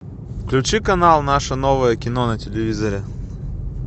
включи канал наше новое кино на телевизоре